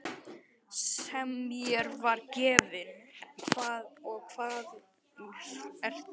Sem mér var gefinn og hvar ertu nú.